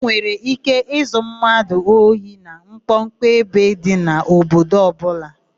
E nwere íké izu mmadụ ohi na mkpọmkpọ ebe dị n'obodo ọbụla.